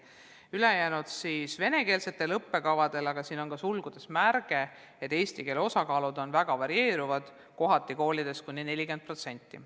Ülejäänud õpivad venekeelsete õppekavade alusel, aga siin on ka sulgudes märge, et eesti keele osakaal varieerub koolides kohati kuni 40%.